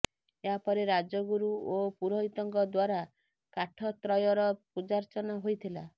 ଏହାପରେ ରାଜଗୁରୁ ଓ ପୁରୋହିତଙ୍କ ଦ୍ୱାରା କାଠତ୍ରୟର ପୂଜାର୍ଚ୍ଚନା ହୋଇଥିଲା